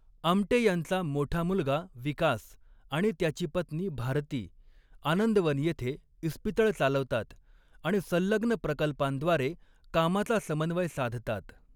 आमटे यांचा मोठा मुलगा विकास आणि त्याची पत्नी भारती आनंदवन येथे इस्पितळ चालवतात आणि संलग्न प्रकल्पांद्वारे कामाचा समन्वय साधतात.